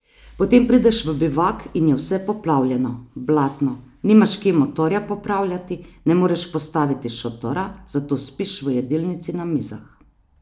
Potem prideš v bivak in je vse poplavljeno, blatno, nimaš kje motorja popravljati, ne moreš postaviti šotora, zato spiš v jedilnici na mizah.